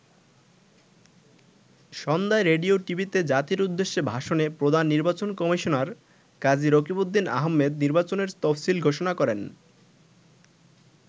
সন্ধ্যায় রেডিও, টিভিতে জাতির উদ্দেশ্যে ভাষণে প্রধান নির্বাচন কমিশনার কাজী রকিবউদ্দিন আহমেদ নির্বাচনের তফসিল ঘোষণা করেন।